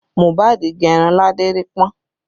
Mohbad gẹ irun ládérípọ́n